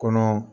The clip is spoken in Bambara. Kɔnɔ